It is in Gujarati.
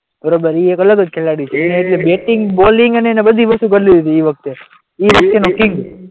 બરાબર એ એક અલગ જ ખેલાડી છે એની બેટિંગ બોલિંગ અને એને બધી વસ્તુ કરી લીધી એ વખતે એ કિંગ